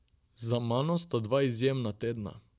Za mano sta dva izjemna tedna.